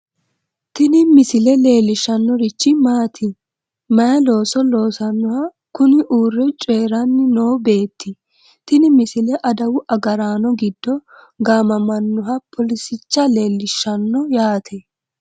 tini misile leellishshannorichi maati? may looso loosannoha kuni uurre coyiiranni noo beeti? tini misile adawu agaraano giddo gaamamannoha poolisicha leellishshanno yaate.